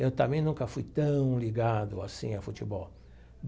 Eu também nunca fui tão ligado assim a futebol.